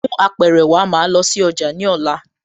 Mú Apẹ̀rẹ̀ wá, màá lọ sí ọjà ní ọ̀la